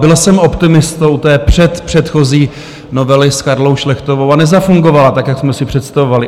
Byl jsem optimistou u té předpředchozí novely s Karlou Šlechtovou a nezafungovala tak, jak jsme si představovali.